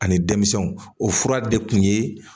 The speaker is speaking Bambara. Ani denmisɛnw o fura de kun ye